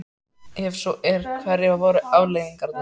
Ef svo er, hverjar voru afleiðingarnar?